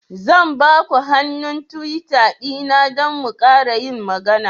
Zan ba ku hannun Twitter dina don mu ƙara yin magana.